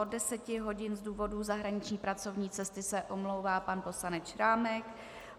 Od 10 hodin z důvodu zahraniční pracovní cesty se omlouvá pan poslanec Šrámek.